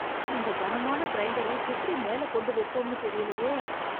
இந்த கனமான கிரைண்டர எப்படி மேல கொண்டு வெப்போம்னு தெரியலையே.